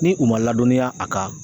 Ni u man ladɔnniya a kan